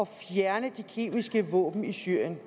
fjerne de kemiske våben i syrien